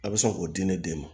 A bɛ se k'o di ne den ma